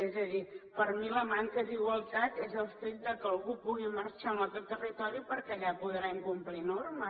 és a dir per mi la manca d’igualtat és el fet que algú pugui marxar a un altre territori perquè allà podrà incomplir normes